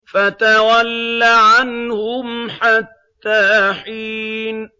فَتَوَلَّ عَنْهُمْ حَتَّىٰ حِينٍ